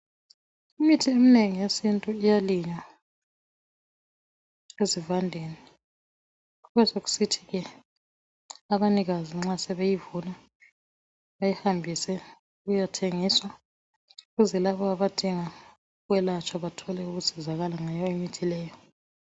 Imithi eminengi yesintu iyalinywa ezivandeni kubesokusithi ke abanikazi nxa sebeyivuna beyihambise iyethengiswa ukuze labo abadinga ukwelatshwa bathole ukusizakala ngayo imithi leyo .